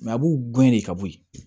a b'u gɛn de ka bɔ yen